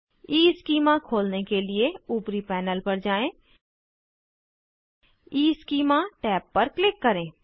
schema खोलने के लिए ऊपरी पैनल पर जाएँ ईस्कीमा टैब पर क्लिक करें